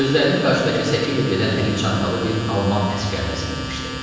Gözlərini qarşıdakı səki ilə gedən əli çantalı bir alman əsgərinə zilləmişdi.